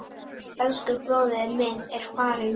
Elsku bróðir minn er farinn.